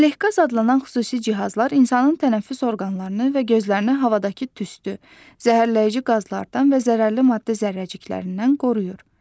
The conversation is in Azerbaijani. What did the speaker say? Ələqaz adlanan xüsusi cihazlar insanın tənəffüs orqanlarını və gözlərini havadakı tüstü, zəhərləyici qazlardan və zərərli maddə zərrəciklərindən qoruyur.